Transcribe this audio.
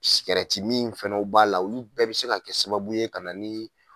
min fana b'a la olu bɛɛ bɛ se ka kɛ sababu ye ka na ni